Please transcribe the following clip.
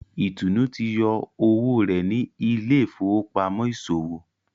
Itunu tí yọ owó rẹ ní Ile-ifowopamọ iṣowo.